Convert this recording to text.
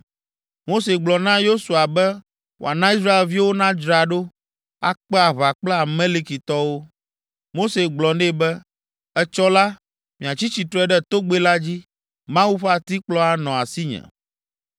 Mose gblɔ na Yosua be wòana Israelviwo nadzra ɖo, akpe aʋa kple Amalekitɔwo. Mose gblɔ nɛ be, “Etsɔ la, matsi tsitre ɖe togbɛ la dzi. Mawu ƒe atikplɔ anɔ asinye!”